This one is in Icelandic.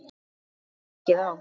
Þetta tekur mikið á.